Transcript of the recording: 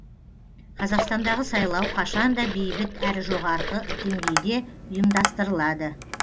қазақстандағы сайлау қашан да бейбіт әрі жоғарғы деңгейде ұйымдастырылады